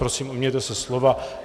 Prosím, ujměte se slova.